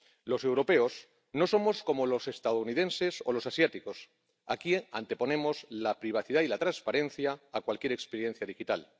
Los europeos no somos como los estadounidenses o los asiáticos, aquí anteponemos la privacidad y la transparencia a cualquier experiencia digital.